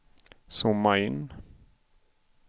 zooma in